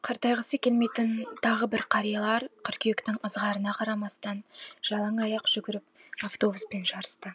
қартайғысы келмейтін тағы бір қариялар қыркүйектің ызғарына қарамастан жалаң аяқ жүгіріп автобуспен жарысты